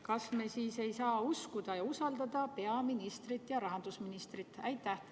Kas me siis ei saa uskuda ja usaldada peaministrit ja rahandusministrit?